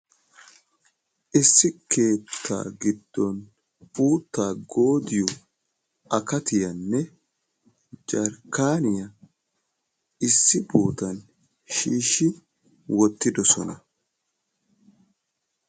Issi keetta giddon uutta goodiyo akatiyanne jarkkaniya issi bootan shiishi wottidoosona.